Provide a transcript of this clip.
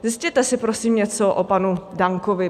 Zjistěte si, prosím, něco o panu Dankovi.